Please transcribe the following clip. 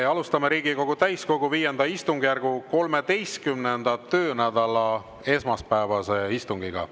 Me alustame Riigikogu täiskogu V istungjärgu 13. töönädala esmaspäevase istungiga.